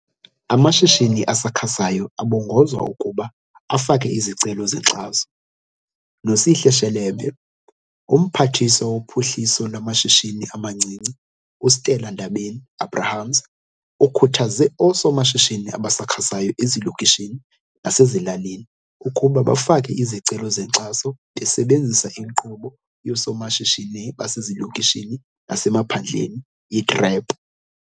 Amashishini asakhasayo abongozwa ukuba afake izicelo zenkxaso. Nosihle Shelembe. UMphathiswa woPhuhliso lwamaShishini amaNcinci, uStella Ndabeni-Abrahams, ukhuthaze oosomashishini abasakhasayo ezilokishini nasezilalini ukuba bafake izicelo zenkxaso besebenzisa inkqubo yoSomashishini Basezilokishini naseMaphandleni, i-TREP.